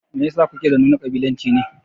Meyasa kuke da nuna ƙabilanci ne